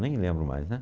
Nem lembro mais, né?